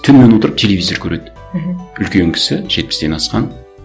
түнімен отырып телевизор көреді мхм үлкен кісі жетпістен асқан